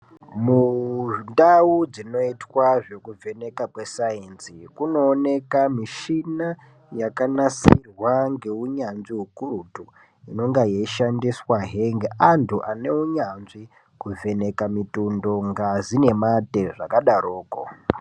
Mundau dzinoitwa zvekuvheneka kweSainzi kunooneka mishina yakanasirwa ngeunyanzvi ukurutu, inenga yeishandiswazve ngeantu ane unyanzvi kuvheneka mitundo, ngazi nemate zvakadaroko.